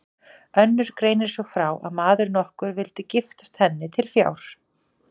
Önnur greinir svo frá að maður nokkur vildi giftast henni til fjár.